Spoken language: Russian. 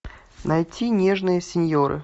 найти нежные синьоры